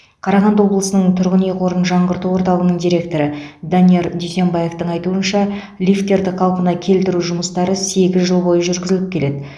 қарағанды облысының тұрғын үй қорын жаңғырту орталығының директоры данияр дүйсембаевтың айтуынша лифттерді қалпына келтіру жұмыстары сегіз жыл бойы жүргізіліп келеді